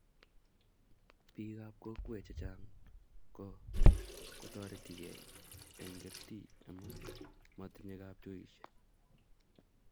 Biik ab kokwee che chang ko kotoretekei eng kertii emu motinye kapchoishe,